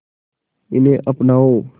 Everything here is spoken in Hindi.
इन्हें अपनाओ